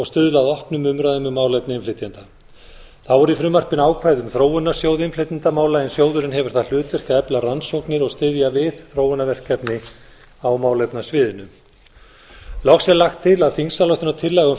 stuðla að opnum umræðum um málefni innflytjenda þ á er í frumvarpinu ákvæði um þróunarsjóð innflytjendamála en sjóðurinn hefur það hlutverk að efla rannsóknir og styðja við þróunarverkefni á málefnasviðinu loks er lagt til að þingsályktunartillaga um